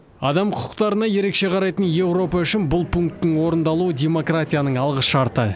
адам құқықтарына ерекше қарайтын еуропа үшін бұл пункттің орындалуы демократияның алғышарты